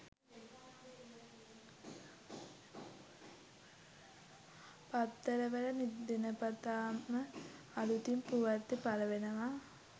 පත්තරවල දිනපතාම අලුතින් ප්‍රවෘත්ති පළවෙනවා